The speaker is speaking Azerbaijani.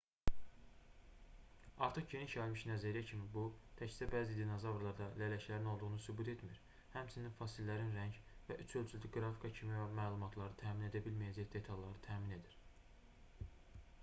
artıq geniş yayılmış nəzəriyyə kimi bu təkcə bəzi dinozavrlarda lələklərin olduğunu sübut etmir həmçinin fosillərin rəng və üç ölçülü qrafika kimi məlumatları təmin edə bilməcəyək detalları təmin edir